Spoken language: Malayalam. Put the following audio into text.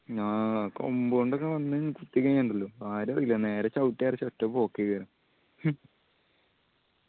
ആ ആ കൊമ്പ് കൊണ്ടൊക്കെ വന്ന് കുത്തികയിഞ്ഞ ഇണ്ടല്ലോ ആരു അറിയില്ല നേരെ ചവിട്ടി അരച്ച് ഒറ്റ പോക്ക്